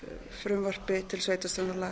frumvarpi til sveitarstjórnarlaga